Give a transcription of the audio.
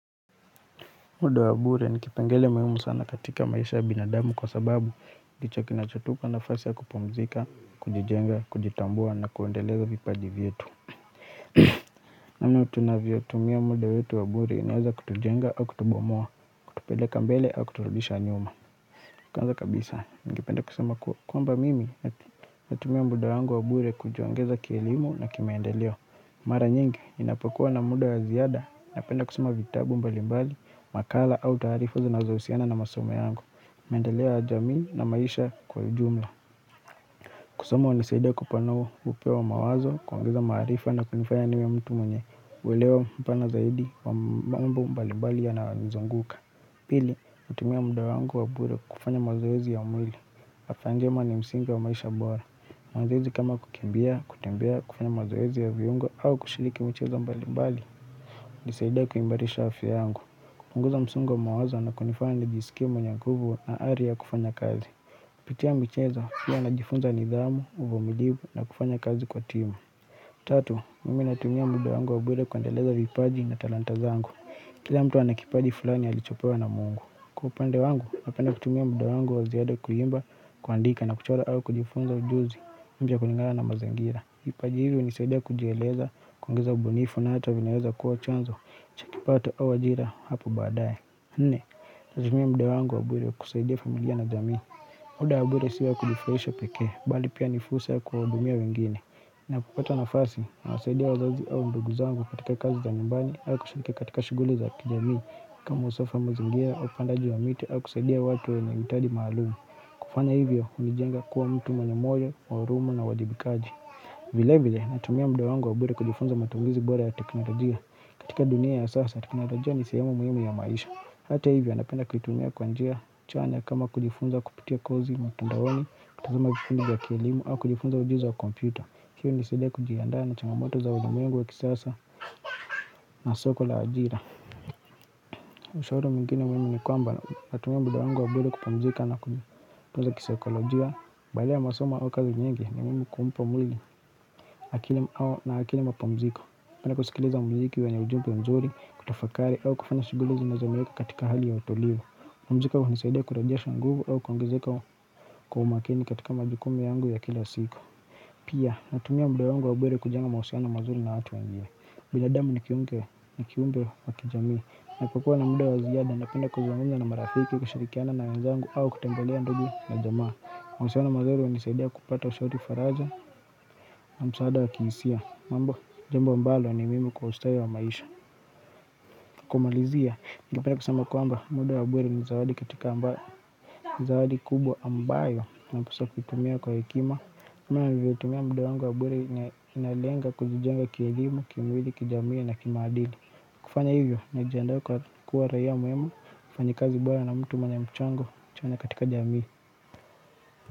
Muda wa bure nikipengele muhimu sana katika maisha ya binadamu kwa sababu ndicho kinachotupa nafasi ya kupumzika, kujijenga, kujitambua na kuendeleza vipaji vyetu namna tunavyo tumia muda wetu wa bure inaeza kutujenga au kutubomoa, tupeleka mbele au kuturudisha nyuma Kwanza kabisa, ningependa kusema kwamba mimi natumia muda wangu wa bure kujiongeza kielimu na kimaendeleo Mara nyingi ninapokua na muda ya ziada napenda kusoma vitabu mbalimbali, makala au taarifu zinazohusiana na masomo yangu, maendeleo ya jamii na maisha kwa ujumla. Kusoma hunisaidia kupanua upeo wa mawazo kuongeza maarifa na kunifanya niwe mtu mwenye ulewa mpana zaidi wa mbambo mbalimbali yanayo nizunguka. Pili, hutumia muda wangu wa bure kufanya mazoezi ya mwili. Afya njema ni msingi wa maisha bora mazoezi kama kukimbia, kutembea, kufanya mazoezi ya viungo au kushiriki michezo mbali mbali hunisaidia kuimarisha afya yangu hupunguza msongo wa mawazo na kunifanya nijisikie mwenye nguvu na ari ya kufanya kazi Pitia michezo pia najifunza nidhamu, uvumilivu na kufanya kazi kwa timu Tatu, mimi natumia muda wangu wa bure kuendeleza vipaji na talanta zangu kila mtu ana kipaji fulani alichopewa na mungu kwa upande wangu, napende kutumia muda wangu wa ziada kuimba kuandika na kuchora au kujifunza ujuzi mpya kulingana na mazingira. Vipaji hivi hunisaidia kujieleza, kuongeza ubunifu na hata vinaweza kuwa chanzo cha kipato au ajira hapo baadaye. Nne, natumia muda wangu wa bure kusaidia familia na jamii. Muda wa bure sio wakujifurahisha pekee, bali pia ni fursa ya kuwahudumia wengine. Napopata nafasi, nawasaidia wazazi au ndugu zangu katika kazi za nyumbani, au kushiriki katika shighuli za kijamii kama usofahamu mazingira au upandaji wa miti au kusaidia watu wanye hitaji maalum kufanya hivyo hunijenga kuwa mtu mwenye moyo wa huruma na wajibikaji vilevile natumia muda wangu wa bure kujifunza matumizi bora ya teknolojia katika dunia ya sasa teknolojia ni sihemu muhimu ya maisha hata hivyo napenda kuitumia kwa njia chanya kama kujifunza kupitia kozi mtandaoni kutazama vipindi vya kielimu au kujifunza ujuzi wa kompyuta hii hunisaidia kujiandaa na changamoto za ulimwengu wa kisasa na soko la ajira Ushauri mwingine muhimu ni kwamba natumia muda wangu wa bure kupamzika na kutunza kisaikolojia baada ya masomo au kazi nyingi ni muhimu kumpa mwili na akili mapamziko napenda kusikileza muziki wenye ujimbe mzuri, kutafakari au kufanya shughuli zinazo niweka katika hali ya utulivu kupumzika hunisidia kurejasha nguvu au kuongezeka kwa umakini katika majukumu yangu ya kila siku Pia, natumia muda wangu wa bure kujenga mahusiano mazuri na watu wangine. Binadamu ni kiumke, ni kiumbe wa kijami. Napokuwa na muda wa ziada, napenda kuzangunza na marafiki kushirikiana na wenzangu au kutembelea ndugu na jamaa. Mahusiano mazuri hunisaidia kupata ushauri faraja na msaada wa kihisia. Mambo, jambo mbalo ni muhimu kwa ustawi wa maisha. Kumalizia, ngependa kusema kwamba muda wa bure ni zawadi katika amba, ni zawadi kubwa ambayo napuswa kuitumia kwa hekima. Nivyotumia muda wangu wa bure inalenga kujijenga kielimu, kimwili, kijamii na kimaadili kufanya hivyo na jiandaa kwa kuwa raia mwema mfanyakazi bora na mtu mwenye mchango chanya katika jamii.